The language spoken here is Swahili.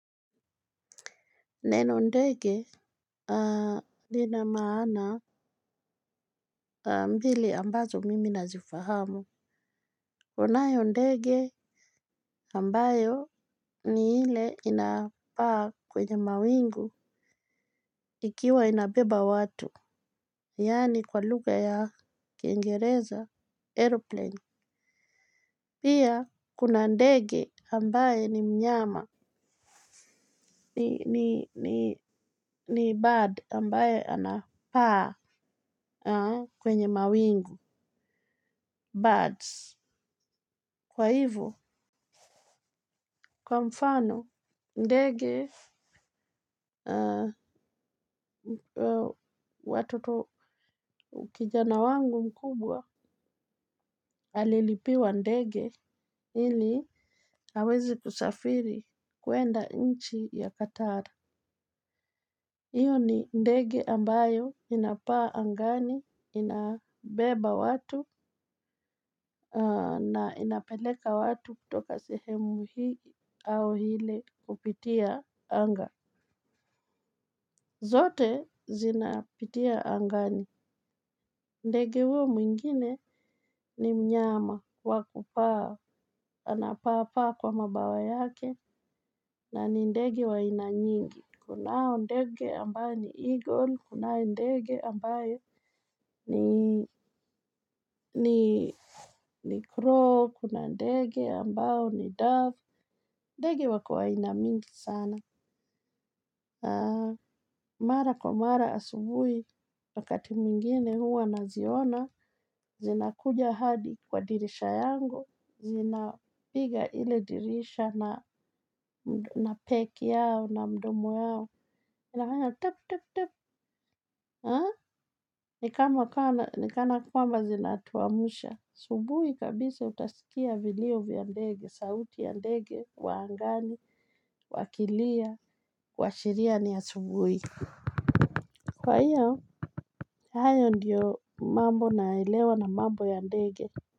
Neno ndege. Lina maana mbili ambazo mimi nazifahamu kunayo ndege ambayo ni ile inapaa kwenye mawingu ikiwa inabeba watu. Yaani kwa lugha ya kingereza aeroplane pia kuna ndege ambaye ni mnyama. Ni bird ambaye anapaa kwenye mawingu Birds. Kwa hivo, kwa mfano, ndege watoto kijana wangu mkubwa alilipiwa ndege ili aweze kusafiri kuenda nchi ya Qatar. Iyo ni ndege ambayo inapaa angani, inabeba watu na inapeleka watu kutoka sehemu hii au ile kupitia anga. Zote zinapitia angani. Ndege huo mwingine ni mnyama kwa kupaa, anapaa paa kwa mabawa yake na ni ndege wa aina nyingi. Kunao ndege ambayo ni eagle, kunayo ndege ambayo ni ni crow, kuna ndege ambayo ni dove, ndege wako aina mingi sana. Mara kwa mara asubuhi, wakati mwingine huwa naziona, zinakuja hadi kwa dirisha yangu, zinapiga ile dirisha na peck yao na mdomo yao. Inafanya tap tap tap haa ni kana kwamba zinatumsha asubuhi kabisa utasikia vilio vya ndege, sauti ya ndege, wa angani, wakilia, kuashiria ni asubuhi. Kwa hiyo, hayo ndiyo mambo naelewa na mambo ya ndege.